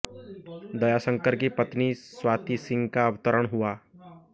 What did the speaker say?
दयाषंकर की पत्नी स्वाति सिंह का अवतरण हुआ